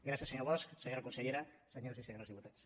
gràcies senyor bosch senyora consellera senyors i senyores diputats